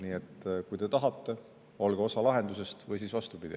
Nii et kui te tahate, olge osa lahendusest, või siis vastupidi.